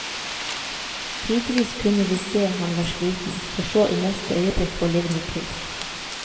Tidvis kunne vi se han var sliten, for så i neste øyeblikk å livne til.